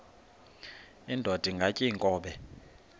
indod ingaty iinkobe